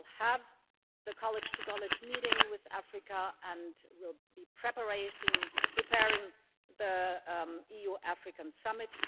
We will have the college to college meeting with Africa and will be preparing the EU Africa Summit.